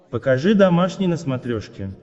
покажи домашний на смотрешке